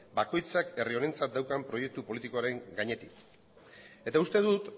bakoitzak herri honentzat daukan proiektu politikoaren gainetik eta uste dut